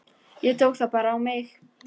Ég tók það bara á mig.